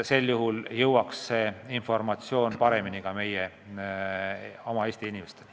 Ka jõuaks see informatsioon siis paremini Eesti inimesteni.